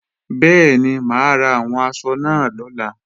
Bẹ́ẹ̀ni, mà á ra àwọn aṣọ náà lọ́la